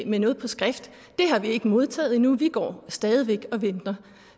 med noget på skrift det har vi ikke modtaget endnu vi går stadig væk og venter